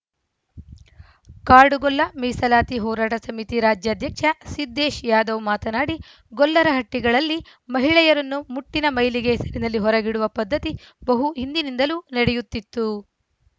ಕಾಡುಗೊಲ್ಲ ಮೀಸಲಾತಿ ಹೋರಾಟ ಸಮಿತಿ ರಾಜ್ಯಾಧ್ಯಕ್ಷ ಸಿದ್ದೇಶ್‌ ಯಾದವ್‌ ಮಾತನಾಡಿ ಗೊಲ್ಲರಹಟ್ಟಿಗಳಲ್ಲಿ ಮಹಿಳೆಯರನ್ನು ಮುಟ್ಟಿನ ಮೈಲಿಗೆ ಹೆಸರಿನಲ್ಲಿ ಹೊರಗಿಡುವ ಪದ್ಧತಿ ಬಹು ಹಿಂದಿನಿಂದಲೂ ನಡೆಯುತ್ತಿತ್ತು